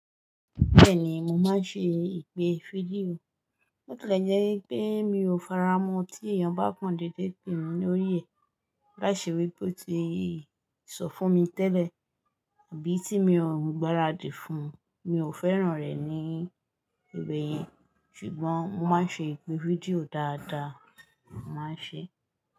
Bẹ́ẹ̀ni, mo máa ń ṣe ìpè fídíò. Botilẹjẹ́ pé mi ò faramọ́ tí èèyàn bá kan dédé pè mí lórí ẹ̀ láìṣe wípé ó ti sọ fún mi tẹ́lẹ̀ àbí tí mi ò gbáradì fún un, mi ò fẹ́ràn rẹ̀ ní ìbè yẹn. Ṣùgbọ́n mo máa ń ṣe ìpè fídíò dáadáa, mo máa ń ṣe.